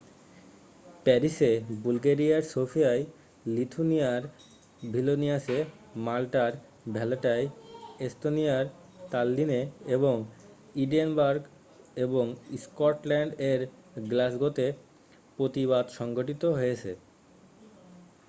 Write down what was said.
প্যারিসে বুলগেরিয়ার সোফিয়ায় লিথুয়েনিয়ার ভিলনিয়াসে মাল্টার ভ্যালেটায় এস্তোনিয়ার তাল্লিনে এবং এডিনবারগ এবং স্কটল্যান্ড এর গ্লাসগোতেও প্রতিবাদ সংঘঠিত হয়েছে